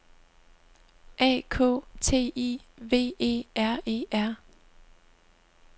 A K T I V E R E R